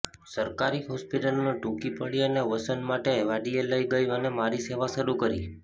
સરકારી હોસ્પિટલો ટૂંકી પડી અને વસન મને વાડીએ લઇ ગઈ અને મારી સેવા શરુ કરી